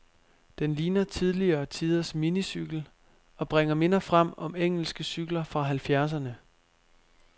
Den ligner tidligere tiders minicykel, og bringer minder frem om engelske cykler fra halvfjerdserne.